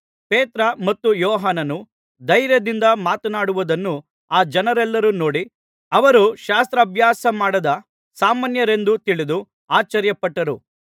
ಪೇತ್ರ ಮತ್ತು ಯೋಹಾನನ್ನು ಧೈರ್ಯದಿಂದ ಮಾತನಾಡುವುದನ್ನು ಆ ಜನರೆಲ್ಲರೂ ನೋಡಿ ಅವರು ಶಾಸ್ತ್ರಭ್ಯಾಸಮಾಡದ ಸಾಮಾನ್ಯರೆಂದು ತಿಳಿದು ಆಶ್ಚರ್ಯಪಟ್ಟರು